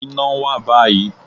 Iná wà báyìí